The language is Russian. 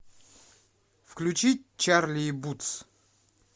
включи чарли и бутс